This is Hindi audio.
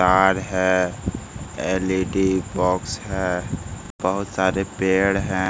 कार है एल.ई.डी. बॉक्स है बहुत सारे पेड़ है।